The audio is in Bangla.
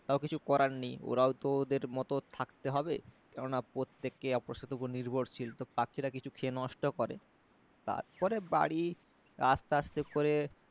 তাও কিছু করার নেই ওরাও তো ওদের মতো থাকতে হবে কেননা প্রত্যেককে অপরের উপর নির্ভরশীল তো পাখিরা কিছু খেয়ে নষ্ট করে তারপরে বাড়ী আসতে আসতে করে